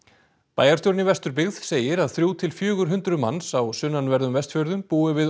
bæjarstjórinn í Vesturbyggð segir að þrjú til fjögur hundruð manns á sunnanverðum Vestfjörðum búi við